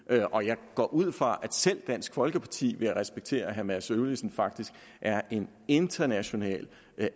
og jeg går ud fra at selv dansk folkeparti vil respektere at herre mads øvlisen faktisk er en internationalt